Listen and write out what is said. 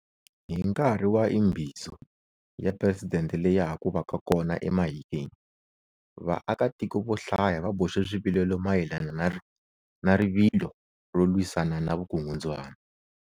Hi nkarhi wa Imbizo ya Presidente leya haku vaka kona eMahikeng, vaakatiko vo hlaya va boxe swivilelo mayelana ni rivilo ro lwisana ni vukungundzwana.